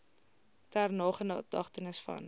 ter nagedagtenis hieraan